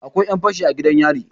akwai 'yanfashi a gidan yari